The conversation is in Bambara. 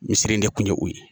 Misir ne kun ye o ye